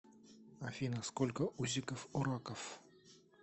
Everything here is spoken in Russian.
афина сколько усиков у раков